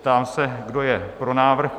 Ptám se, kdo je pro návrh?